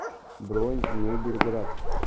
бронь мебельград